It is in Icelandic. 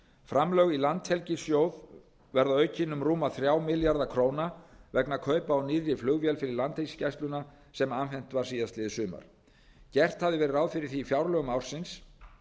framlög í landhelgissjóð verða aukin um rúma þrjá milljarða króna vegna kaupa á nýrri flugvél fyrir landhelgisgæsluna sem afhent var síðastliðið sumar gert hafði verið ráð fyrir því í fjárlögum ársins